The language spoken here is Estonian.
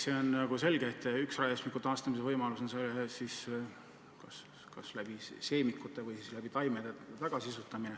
See on selge, et üks raiesmiku taastamise võimalusi on kasutada seemikuid, istutada taimed tagasi.